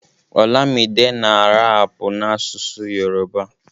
olamide na rapu n'asụsụ Yoruba